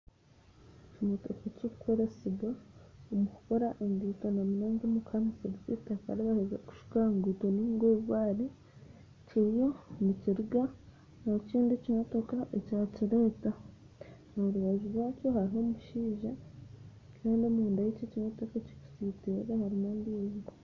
Ekimotoka ekirikukoresibwa omu kukora enguuto okukira munonga omu kuhamisiriza eitaka eri baaheza kushuka aha nguuto nainga obubare kiriyo nikiruga ahu ekindi kimotoka ekyakireta aha rubaju rwakyo hariho omushaija kandi omunda y'ekyo ekimotoka ekirikusitirira harimu amaizi